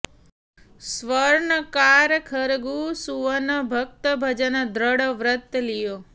स्वर्नकार खरगू सुवन भक्त भजन दृढ ब्रत लियो